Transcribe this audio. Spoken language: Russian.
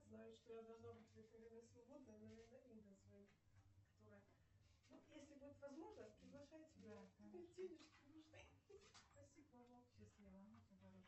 салют хватит